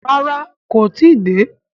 Rárá, kó tí ì dé.